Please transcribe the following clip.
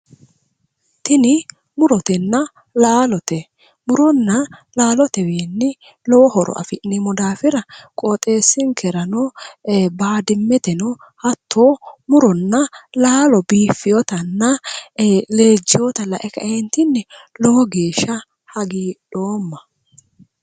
tini murotenna laalote muronna laalotewiinni lowo horo afi'neemmo daafira qooxeessinkerano baadiyeteno hattono muronna laalo biifeewotanna leejjeewota lae ka'eentinni lowo geeshsha hagiidhoomma.